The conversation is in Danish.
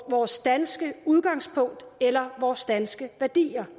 vores danske udgangspunkt eller vores danske værdier